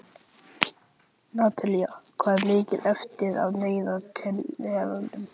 Natalí, hvað er mikið eftir af niðurteljaranum?